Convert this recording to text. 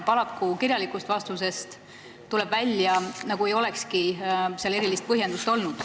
Paraku tuleb kirjalikust vastusest välja, nagu ei olekski sellel erilist põhjendust.